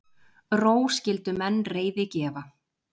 Ró skyldu menn reiði gefa.